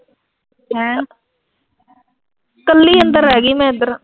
ਕੱਲੀ ਅੰਦਰ ਰਹਿ ਗੀ ਮੈਂ ਇਧਰ